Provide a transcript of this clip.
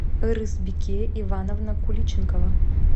ырысбике ивановна куличенкова